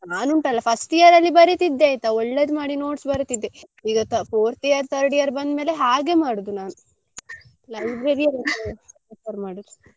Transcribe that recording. ನಾನ್ ಉಂಟಲ್ಲ first year ಅಲ್ಲಿ ಬರಿತಿದ್ದೆ ಆಯ್ತಾ ಒಳ್ಳೇದು ಮಾಡಿ notes ಬರಿತಿದ್ದೆ. ಈಗ fourth year third year ಬಂದ್ಮೇಲೆ ಹಾಗೆ ಮಾಡುದು ನಾನು. library ಅದ್ದೇ refer ಮಾಡುದು .